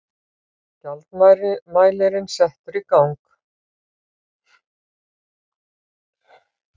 Gjaldmælirinn settur í gang.